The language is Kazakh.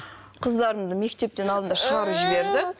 қыздарымды мектептен алдында шығарып жіберді